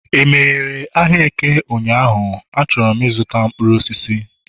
e meghere ahịa eke ụnyahụ? chọrọ ịzụta mkpuru osisi